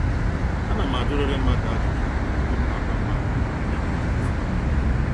Ana m ajuriri mmadụ ajụjụ tupu m wepụ ákwá mmadụ nígwé eji asa ákwá